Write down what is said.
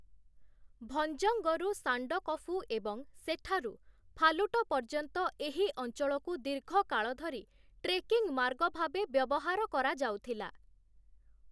ଭଞ୍ଜଙ୍ଗରୁ ସାଣ୍ଡକଫୁ ଏବଂ ସେଠାରୁ ଫାଲୁଟ ପର୍ଯ୍ୟନ୍ତ ଏହି ଅଞ୍ଚଳକୁ ଦୀର୍ଘ କାଳ ଧରି ଟ୍ରେକିଙ୍ଗ୍ ମାର୍ଗ ଭାବେ ବ୍ୟବହାର କରାଯାଉଥିଲା ।